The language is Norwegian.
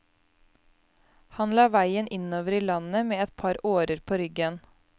Han la veien innover i landet med et par årer på ryggen.